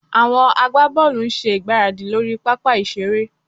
Àwọn agbábọ́ọ̀lù ń ṣe ìgbáradì lórí pápá ìṣeré